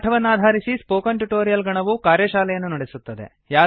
ಈ ಪಾಠವನ್ನಾಧರಿಸಿ spoken tutorial ನ ಗಣವು ಕಾರ್ಯಶಾಲೆಯನ್ನು ನಡೆಸುತ್ತದೆ